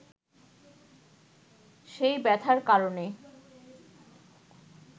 সেই ব্যথার কারণে